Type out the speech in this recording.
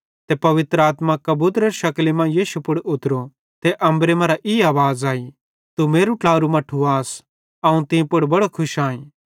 ते पवित्र आत्मा कबूतरेरी शकली मां यीशु पुड़ उतरो ते अम्बरे मरां ई आवाज़ अई तू मेरू ट्लारू मट्ठू आस अवं तीं पुड़ बड़ो खुश आईं